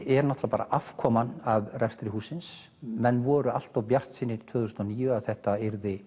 er afkoman af rekstri hússins menn voru allt of bjartsýnir tvö þúsund og níu að þetta